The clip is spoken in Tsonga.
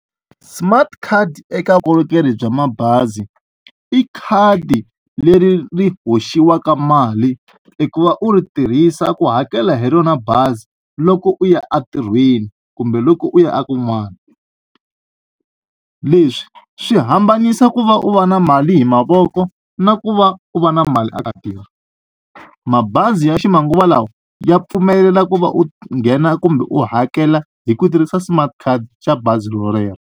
Smart card eka vukorhokeri bya mabazi i khadi leri ri hoxiwaka mali i ku va u ri tirhisa ku hakela hi rona bazi loko u ya entirhweni kumbe loko u ya a kun'wana leswi swi hambanisa ku va u va na mali hi mavoko na ku va u va na mali a ka khadini mabazi ya ximanguva lawa ya pfumelela ku va u nghena kumbe u hakela hi ku tirhisa smart card xa bazi rolero.